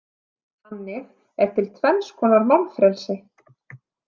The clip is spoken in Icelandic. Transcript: Þannig er til tvenns konar málfrelsi.